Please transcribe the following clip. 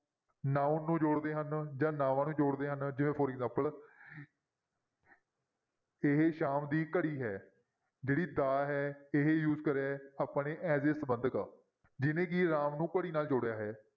Noun ਨੂੰ ਜੋੜਦੇ ਹਨ ਨਾਵਾਂ ਨੂੰ ਜੋੜਦੇ ਹਨ ਜਿਵੇਂ for example ਇਹ ਸ਼ਾਮ ਦੀ ਘੜੀ ਹੈ, ਜਿਹੜੀ ਦਾ ਹੈ ਇਹ use ਕਰਿਆ ਹੈ ਆਪਾਂ ਨੇ as a ਸੰਬੰਧਕ ਜਿਹਨੇ ਕਿ ਰਾਮ ਨੂੰ ਘੜੀ ਨਾਲ ਜੋੜਿਆ ਹੈ।